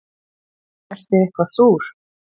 Ertu eitthvað súr?